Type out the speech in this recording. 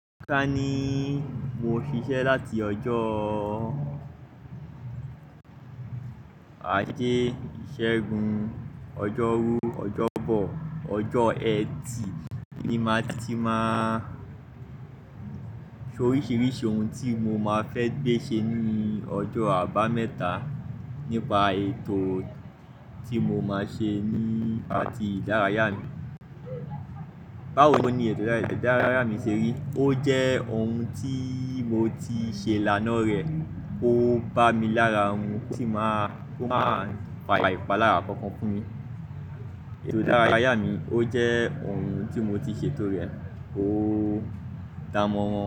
Ká ní mo ṣiṣẹ́ láti ọjọ́ ajé, ìṣẹ́gun, ọjọ́rú, ọjọ́bọ̀, ọjọ́ ẹtì ni màá ti máa ṣe oríṣiríṣi ohun tí mo máa fẹ́ gbé ṣe ní ọjọ́ àbámẹ́ta nípa ètò tí mo máa ṣe ní patí ìdárayá mi. Báwo ni ètò ìdárayá mi ṣe rí? Ó jẹ́ ohun tí mo ti ṣe ilánàà rẹ̀, ó bá mi lára ohun tí máa, kó máa pa ìpà lára kankan fún mi. Ètò ìdárayá mi ó jẹ́ ohun tí mo ti ṣe tó rẹ̀, ó da mọ́ wọn.